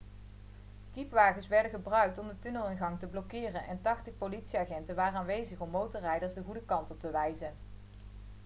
kiepwagens werden gebruikt om de tunnelingang te blokkeren en 80 politieagenten waren aanwezig om motorrijders de goede kant op te wijzen